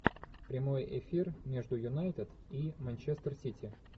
прямой эфир между юнайтед и манчестер сити